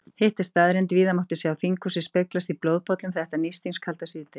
Hitt er staðreynd, víða mátti sjá þinghúsið speglast í blóðpollum þetta nístingskalda síðdegi.